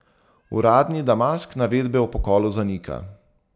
Uradni Damask navedbe o pokolu zanika.